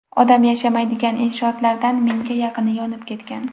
Odam yashamaydigan inshootlardan mingga yaqini yonib ketgan.